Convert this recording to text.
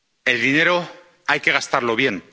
El dinero hay que gastarlo bien